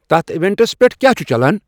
تتھ ایونٹَس پٮ۪ٹھ کیٛاہ چھُ چلان